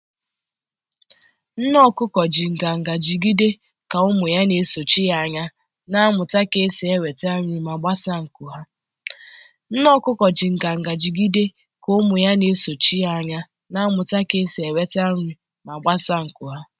Nne okuko ji nganga jigide ka ụmụ ya na-esochi ya anya, na-amụta ka esi enweta nri ma gbasaa nku ha.